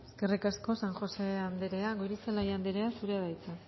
eskerrik asko san josé andrea goirizelaia andrea zurea da hitza